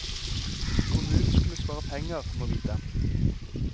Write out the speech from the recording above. Kommunen skulle spare penger, må vite.